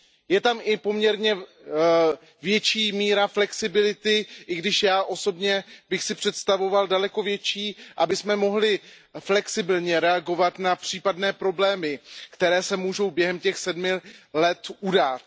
Je tam i poměrně větší míra flexibility, i když já osobně bych si představoval daleko větší, abychom mohli flexibilně reagovat na případné problémy, které se mohou během těch sedmi let udát.